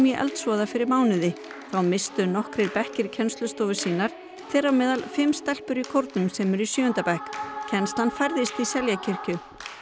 eldsvoða fyrir mánuði þá misstu nokkrir bekkir kennslustofur sínar þeirra á meðal fimm stelpur í kórnum sem eru í sjöunda bekk kennslan færðist í Seljakirkju já